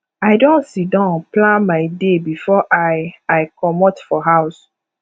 i don sidon plan my day before i i comot for house